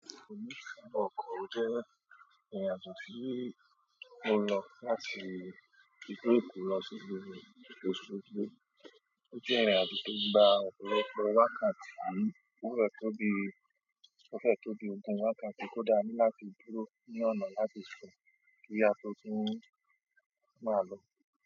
Ọkọ̀ jẹ́ ìrìn àjò tó ń lọ láti ibì kù lọ sí ibi Òsogbo. Ó jẹ́ ìrìn àjò tó gba ọ̀pọ̀lọpọ̀ wákàtí. Ó fẹ́ tó bí, ó fẹ́ tó bí ogún wákàtí kódà ní láti dúró ní ọ̀nà láti sùn kí á tó tún máa lọ.